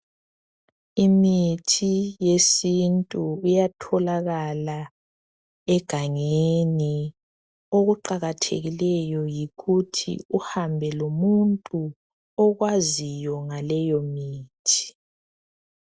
Imithi yesintu iyatholakala egangeni okuqakathekileyo yikuthi uhambe lomuntu okwaziyo ngaleyo mithi.